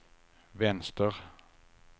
vänster